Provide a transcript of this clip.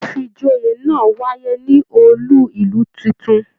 Ifíjòyè náà wáyé ní ọọlú ìlú títún.